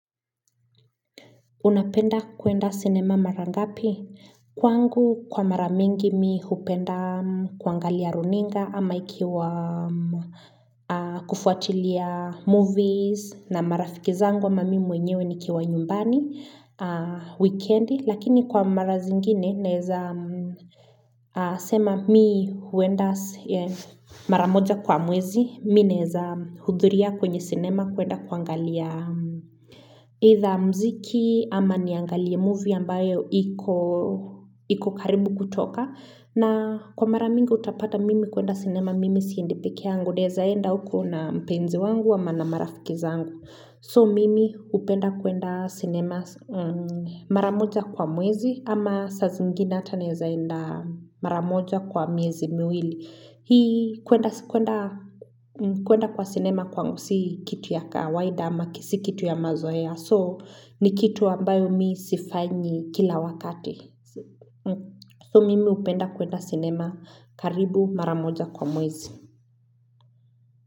Unapenda kuenda sinema mara ngapi kwangu kwa mara mingi mi hupenda kuangalia runinga ama ikiwa kufuatilia movies na marafiki zangu ama mi mwenyewe nikiwa nyumbani wikendi lakini kwa mara zingine naeza sema mi huenda mara moja kwa mwezi mi naeza hudhuria kwenye sinema kuenda kuangalia Either mziki ama niangalie movie ambayo iko karibu kutoka na kwa mara mingi utapata mimi kuenda sinema mimi siendi peke yangu naeeza enda huko na mpenzi wangu ama na marafiki zangu So mimi upenda kuenda sinema mara moja kwa mwezi ama saa zingine ata naeza enda mara moja kwa miezi miwili Hii kuenda kwa sinema kwangu si kitu ya kawaida ama ki si kitu ya mazoea So ni kitu ambayo mi sifanyi kila wakati So mimi hupenda kuenda sinema karibu mara moja kwa mwezi.